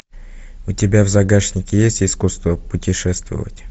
у тебя в загашнике есть искусство путешествовать